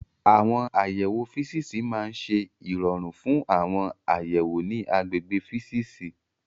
Àwọn àyẹ̀wò físíìsì máa ń ṣe ìrọ̀rùn fún àwọn àyẹ̀wò ní àgbègbè físíìsì.